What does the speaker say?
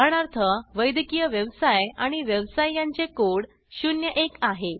उदाहरणार्थ वैद्यकीय व्यवसाय आणि व्यवसाय यांचे कोड 01 आहे